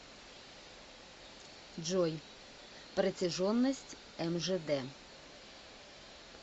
джой протяженность мжд